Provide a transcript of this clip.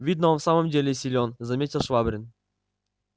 видно он в самом деле силен заметил швабрин